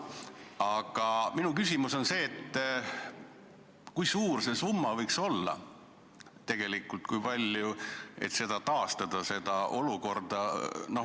Aga minu küsimus on see, kui suur see summa võiks olla, et seda olukorda taastada.